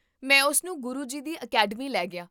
ਮੈਂ ਉਸਨੂੰ ਗੁਰੂ ਜੀ ਦੀ ਅਕੈਡਮੀ ਲੈ ਗਿਆ